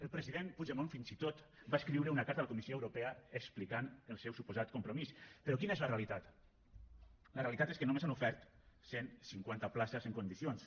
el president puigdemont fins i tot va escriure una carta a la comissió europea explicant el seu suposat compromís però quina és la realitat la realitat és que només han ofert cent cinquanta places en condicions